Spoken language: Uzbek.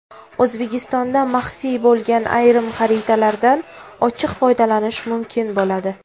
O‘zbekistonda maxfiy bo‘lgan ayrim xaritalardan ochiq foydalanish mumkin bo‘ladi.